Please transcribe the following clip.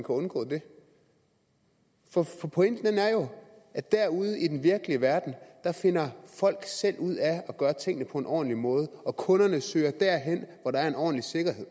undgå det pointen er jo at derude i den virkelige verden finder folk selv ud af at gøre tingene på en ordentlig måde og kunderne søger derhen hvor der er en ordentlig sikkerhed